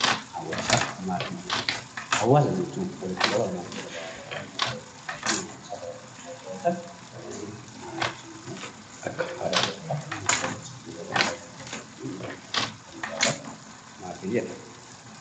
Hawaasa jechuun walitti qabama uummata garaagaraa kan bakka tokkotti argaman yoo ta'an, maatiin immoo kan akka abbaa, haadhaa fi ijoollee kan mana tokko keessa waliin jiraatanidha.